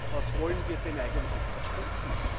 Was wollen wir denn eigentlich verstecken?